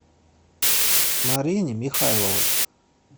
марине михайловой